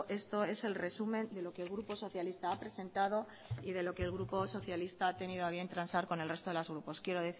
esto es el resumen de lo que el grupo socialista ha presentado y de lo que el grupo socialista ha tenido a bien transar con el resto de los grupos quiero